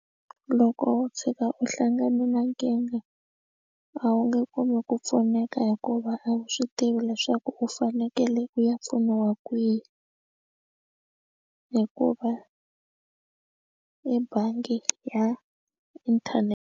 Loko u tshuka u hlangane na nkingha a wu nge kumi ku pfuneka hikuva a wu swi tivi leswaku u fanekele u ya pfuniwa kwihi hikuva ebangi ya inthanete.